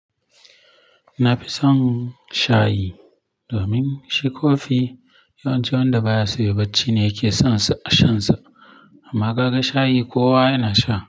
Na fi son shayi domin shi kofi yawanci wanda baya so yai bacci ne yake son sha shansa. Amma kaga shayi kowa yana sha.